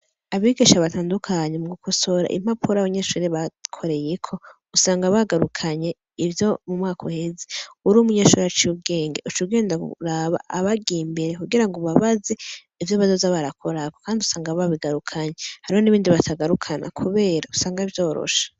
Abigisha batandukanyi mwo kusora impapuro abanyeshure bakoreyeko usanga abagarukanye ivyo mu mwaka uhezi uri umunyeshura c'ubwenge uca ugenda raba abagiy imbere kugira ngo ubabaze ivyo bazoza barakorako, kandi usanga abababigarukanyi hariwo n'ibindi batagarukana, kubera usanga vyorosha.